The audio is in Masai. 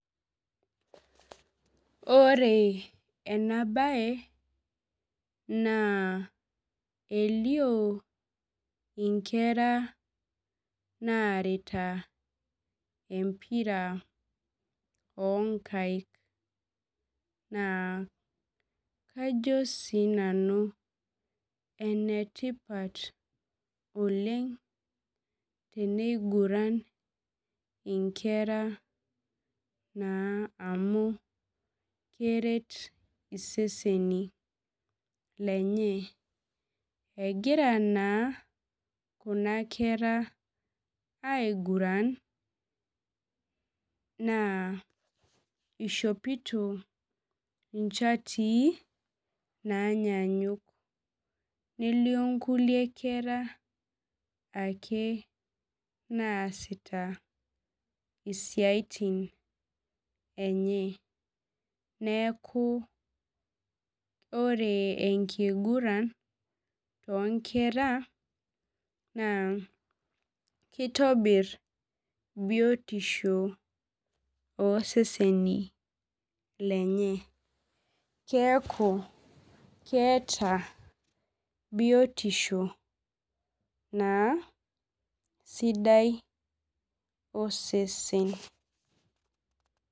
Ore enabae na elio inkera narita empira onkaik na kajo sinanu enetipat oleng tneniguran nkera amu keret iseseni lenye egira naa kuna kera iguran na ishopito nchatii nanyanyuk nelio nkulie kera ake naasita siatini enye neaku ore enkiguran tonkera na kitobir biotisho oseseni lenye keaku keeta biotisho sidai osesen